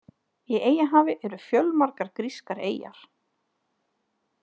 Í Eyjahafi eru fjölmargar grískar eyjar.